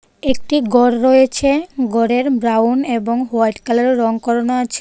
একটি গর রয়েছে গরের ব্রাউন এবং হোয়াইট কালারের রঙ করানো আছে।